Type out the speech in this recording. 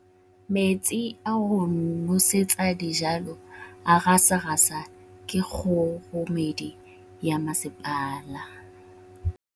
Metsi a go nosetsa dijalo a gasa gasa ke kgogomedi ya masepala.